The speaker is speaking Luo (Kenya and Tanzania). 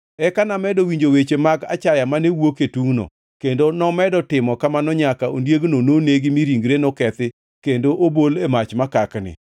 “Eka namedo winjo weche mag achaya mane wuok e tungʼno, kendo nomedo timo kamano nyaka ondiegno nonegi mi ringre nokethi kendo obol e mach makakni.